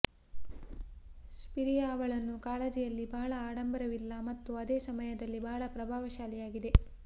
ಸ್ಪಿರಿಯಾ ಅವಳನ್ನು ಕಾಳಜಿಯಲ್ಲಿ ಬಹಳ ಆಡಂಬರವಿಲ್ಲ ಮತ್ತು ಅದೇ ಸಮಯದಲ್ಲಿ ಬಹಳ ಪ್ರಭಾವಶಾಲಿಯಾಗಿದೆ